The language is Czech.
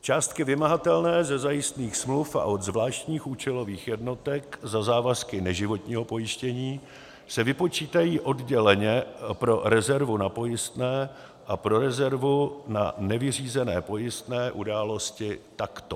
Částky vymahatelné ze zajistných smluv a od zvláštních účelových jednotek za závazky neživotního pojištění se vypočítají odděleně pro rezervu na pojistné a pro rezervu na nevyřízené pojistné události takto: